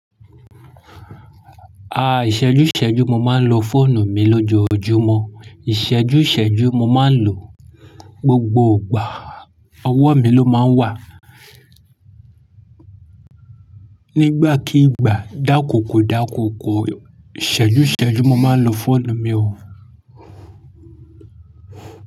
A ìṣẹ́jú ìṣẹ́jú mo máa ń lo fóònù mi lójoojúmọ́. Ìṣẹ́jú ìṣẹ́jú mo máa ń lò, gbogbo ìgbà, ọwọ́ mi ló máa ń wà. Nígbàkígbà dákókò dákókò ìṣẹ́jú ìṣẹ́jú mo máa ń lo fóònù mi o.